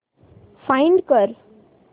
find कर